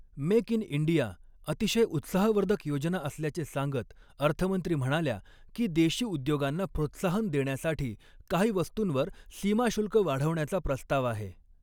Make in India अतिशय उत्साहवर्धक योजना असल्याचे सांगत अर्थमंत्री म्हणाल्या की, देशी उद्योगांना प्रोत्साहन देण्यासाठी काही वस्तूंवर सीमा शुल्क वाढवण्याचा प्रस्ताव आहे.